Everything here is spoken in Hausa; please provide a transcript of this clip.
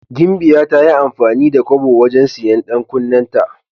Gimbiya ta yi amfani da kobo wajen siyan 'yan kunnenta.